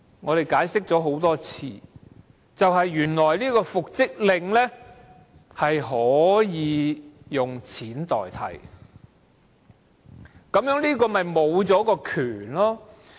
我解釋了很多次，僱主若拒絕履行復職令，可以付錢代替，導致僱員沒有復職權。